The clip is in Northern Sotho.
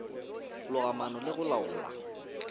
loga maano le go laola